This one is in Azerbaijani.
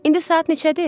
İndi saat neçədir?